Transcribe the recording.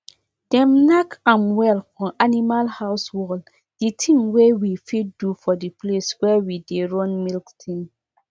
people wey dey train animal build small shade near the field wey animals dey chop in case of days wey rain go dey fall.